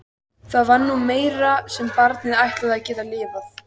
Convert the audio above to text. Það var nú meira sem barnið ætlaði að geta lifað.